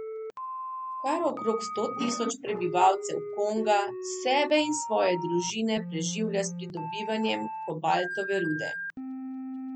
Kar okrog sto tisoč prebivalcev Konga sebe in svoje družine preživlja s pridobivanjem kobaltove rude.